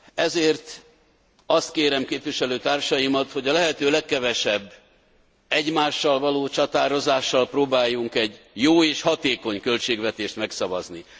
Ezért azt kérem képviselőtársaimtól, hogy a lehető legkevesebb egymással való csatározással próbáljunk egy jó és hatékony költségvetést megszavazni.